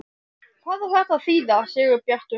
HVAÐ Á ÞETTA AÐ ÞÝÐA, SIGURBJARTUR?